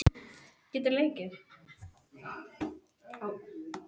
Ætlaði bara að vera eina helgi.